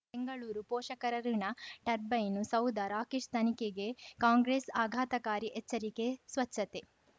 ಬೆಂಗಳೂರು ಪೋಷಕರಋಣ ಟರ್ಬೈನು ಸೌಧ ರಾಕೇಶ್ ತನಿಖೆಗೆ ಕಾಂಗ್ರೆಸ್ ಆಘಾತಕಾರಿ ಎಚ್ಚರಿಕೆ ಸ್ವಚ್ಛತೆ